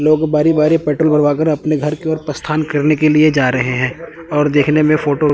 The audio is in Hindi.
लोग बारी बारी पेट्रोल भरवा कर अपने घर की ओर प्रस्थान करने के लिए जा रहे हैं और देखने में फोटो --